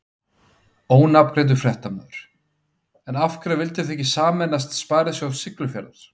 Ónafngreindur fréttamaður: En af hverju vildu þið ekki sameinast Sparisjóð Siglufjarðar?